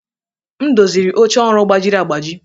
M doziri oche ọrụ gbajiri agbaji.